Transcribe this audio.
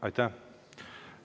Aitäh!